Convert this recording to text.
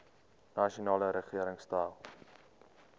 nasionale regering stel